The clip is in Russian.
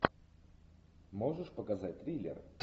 можешь показать триллер